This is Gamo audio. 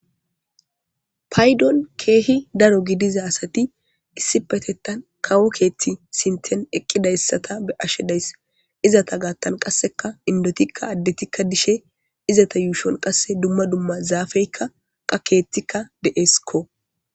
paydon keehi daro gidiza asati issi petettan kawo keethti sinten eqqidayssata be ashe dayss izata gaattan qasseka indotikka addetikka dishe izata yuushon qasse dumma dumma zaafeykka qakeetikka de7esikko